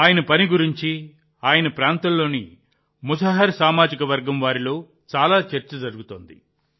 ఆయన పని గురించి ఆయన ప్రాంతంలోని ముసహర్ సామాజిక వర్గం వారిలో చాలా చర్చ జరుగుతోంది